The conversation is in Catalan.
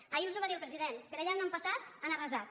ahir els ho va dir el president per allà on han passat han arrasat